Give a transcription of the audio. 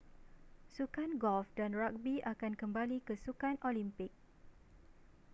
sukan golf dan ragbi akan kembali ke sukan olimpik